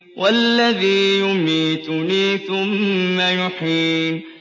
وَالَّذِي يُمِيتُنِي ثُمَّ يُحْيِينِ